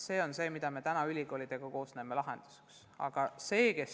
See on see, mida me koos ülikoolidega täna lahendusena näeme.